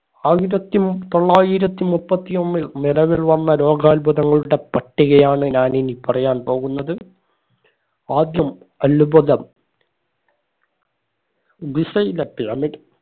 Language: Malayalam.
ആയിരത്തി ഉം തൊള്ളായിരത്തി മുപ്പത്തി ഒന്നിൽ നിലവിൽ വന്ന ലോകാത്ഭുതങ്ങളുടെ പട്ടികയാണ് ഞാൻ ഇനി പറയാൻ പോകുന്നത് ആദ്യം അത്ഭുതം ഗിസയിലെ pyramid